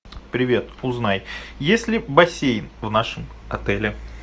привет узнай есть ли бассейн в нашем отеле